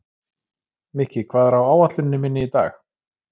Mikki, hvað er á áætluninni minni í dag?